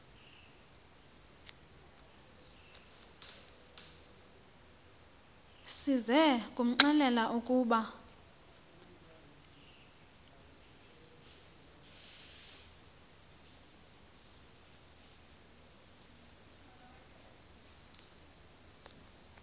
size kumxelela ukuba